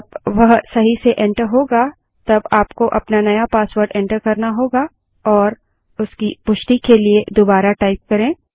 जब वह सही से एंटर करेंगे तब आपको अपना नया पासवर्ड एंटर करना होगा और उसकी पुष्टि के लिए दुबारा टाइप करें